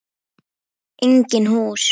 Engin hús.